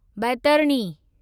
Baitarani